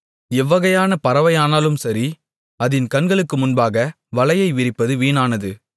எவ்வகையான பறவையானாலும் சரி அதின் கண்களுக்கு முன்பாக வலையை விரிப்பது வீணானது